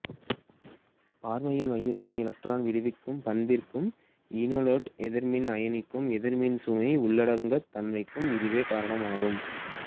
formyl மையத்தின் electron விடுவிக்கும் பண்பிற்கும் ஈனோலேட்டு எதிர்மின் அயனியின் எதிர்மின் சுமை உள்ளடங்காத் தன்மைக்கும் இதுவே காரணமாகும்